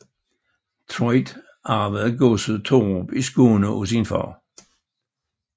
Truid arvede godset Torup i Skåne af sin far